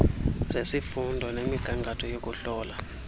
zesifundo nemigangatho yokuhlola